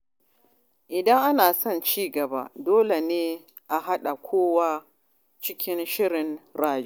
Idan ana son cigaba, dole ne a haɗa kowa cikin shirin rayuwa.